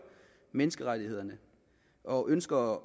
menneskerettighederne og ønsker